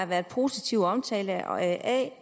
været positiv omtale af